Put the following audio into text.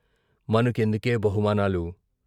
మనకెందుకే బహుమానాలు?